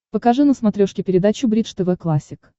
покажи на смотрешке передачу бридж тв классик